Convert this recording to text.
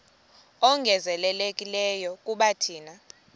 ongezelelekileyo kuba thina